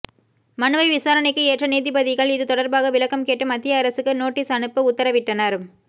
மனுவை விசாரணைக்கு ஏற்ற நீதிபதிகள் இது தொடர்பாக விளக்கம் கேட்டு மத்திய அரசுக்கு நோட்டீஸ் அனுப்ப உத்தரவிட்டனர்